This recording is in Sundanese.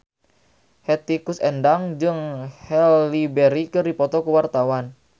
Hetty Koes Endang jeung Halle Berry keur dipoto ku wartawan